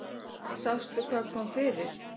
Sástu hvað kom fyrir?